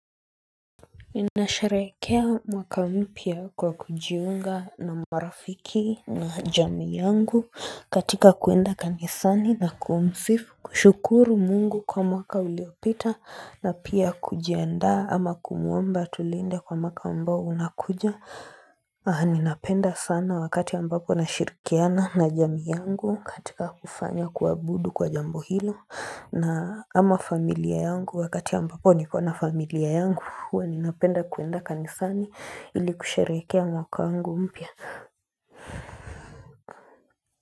Ninasherehekea mwaka mpya kwa kujiunga na marafiki na jamii yangu katika kuenda kanisani na kumsifu, kushukuru Mungu kwa mwaka uliopita na pia kujiandaa ama kumuomba atulinde kwa mwaka ambao unakuja Ninapenda sana wakati ambapo nashirikiana na jamii yangu katika kufanya kuanudu kwa jambo hilo na, ama familia yangu wakati ambapo niko na familia yangu huwa ninapenda kuenda kanisani ili kusherehekea mwaka wangu mpya.